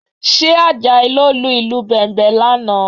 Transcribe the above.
Ṣé Àjàyí ló lu ìlù Bẹ̀m̀bẹ̀ lánàá?